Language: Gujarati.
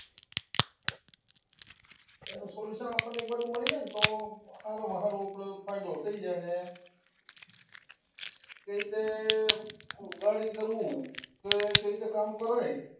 એનું solution આપણને એક બાજુ મળી રે ને તો સારામાં સારું આપણને ફાયદો થઇ જાય અને એ રીતે કે કઈ રીતે કામ કરાય,